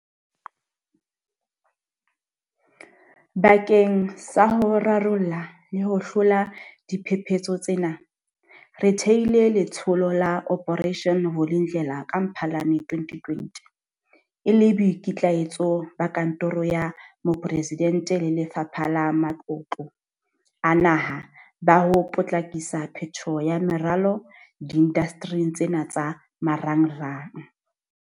Bakeng sa ho rarolla le ho hlola diphephetso tsena, re thehile Letsholo la Operation Vulindlela ka Mphalane 2020 e le boikitlahetso ba Kantoro ya Moporesidente le Lefapha la Matlotlo a Naha ba ho potlakisa phetoho ya meralo diindastering tsena tsa marangrang.